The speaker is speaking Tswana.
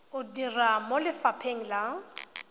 o dira mo lefapheng la